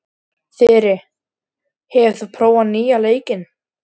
Þyri, hefur þú prófað nýja leikinn?